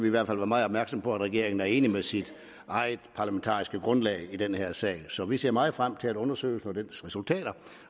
i hvert fald være meget opmærksomme på at regeringen er enig med sit eget parlamentariske grundlag i den her sag så vi ser meget frem til undersøgelsen og dens resultater